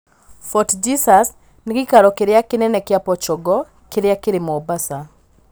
Fort Jesus nĩ gĩikaro gĩa tene kĩa Portugal kĩrĩa kĩrĩ Mombasa.